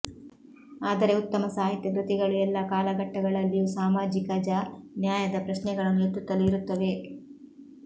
ಆದರೆ ಉತ್ತಮ ಸಾಹಿತ್ಯ ಕೃತಿಗಳು ಎಲ್ಲ ಕಾಲಘಟ್ಟಗಳಲ್ಲಿಯೂ ಸಾಮಾಜಿಕಜ ನ್ಯಾಯದ ಪ್ರಶ್ನೆಗಳನ್ನು ಎತ್ತುತ್ತಲೇ ಇರುತ್ತವೆ